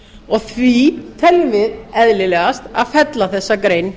og því teljum við eðlilegast að fella þessa grein